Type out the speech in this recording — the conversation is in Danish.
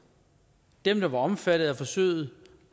dem der var omfattet af forsøget